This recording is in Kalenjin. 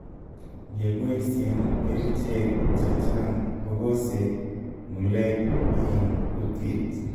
ngepoisyen kericheg chechang kobosee ng'uleg en kutit